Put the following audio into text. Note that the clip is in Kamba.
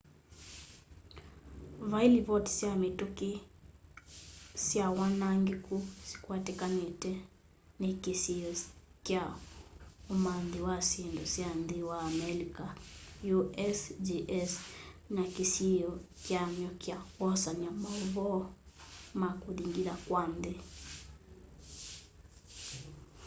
vaii livoti sya mituki sy wanangiku sikwatikanite ni kisiio kya umanthi wa syindu sya nthi wa amelika usgs na kisiio kyamy'o kya kwosanya mauvoo ma kuthingitha kwa nthi